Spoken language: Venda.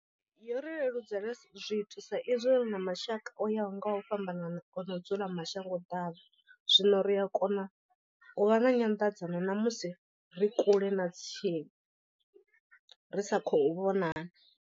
Yo ri leludzela zwithu sa izwi ri na mashaka o yaho nga u fhambanana o no dzula mashango ḓavha, zwino ri a kona u vha na nyanḓadzano namusi ri kule na tsini ri sa khou vhonala.